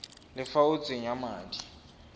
le fa o tsenya madi